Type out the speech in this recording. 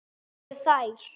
Hvar eru þær?